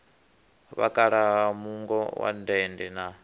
vhakalaha muungo wa dende na